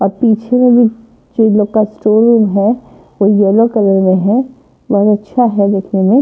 और पीछे भी थ्री लोग का स्टूल है और येलो कलर में है और अच्छा है देखने में--